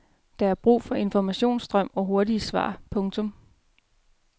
Der er brug for informationsstrøm og hurtige svar. punktum